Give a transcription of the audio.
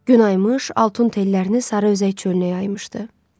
Günaymış altun tellərini sarı özəy çölünə yaymışdı.